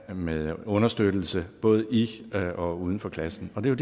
med understøttelse både i og uden for klassen og det er